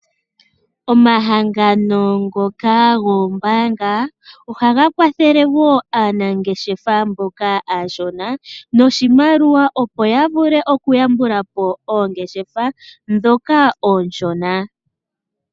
Omahangano ngoka goombaanga ohaga kwathele wo aanangeshefa mboka aashona noshimaliwa opo yavule okuyambukapo oongeshefa ndhoka oonshona.